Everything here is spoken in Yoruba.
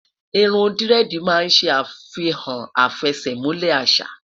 irún diredi má n se afihan afesemule àṣà